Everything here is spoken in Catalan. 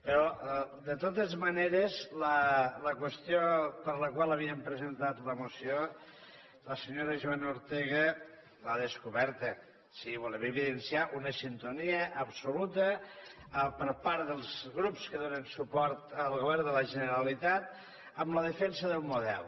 però de totes maneres la qüestió per la qual havíem presentat la moció la senyora joana ortega l’ha descoberta sí volem evidenciar una sintonia absoluta per part dels grups que donen suport al govern de la generalitat amb la defensa del model